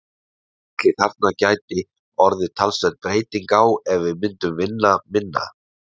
Ætli þarna gæti orðið talsverð breyting á ef við myndum vinna minna?